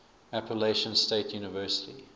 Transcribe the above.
appalachian state university